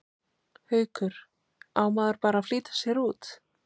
Haukur: Á maður bara að flýta sér út?